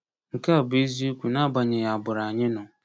Nke a bụ eziokwu n’agbanyeghị agbụrụ anyị nọ.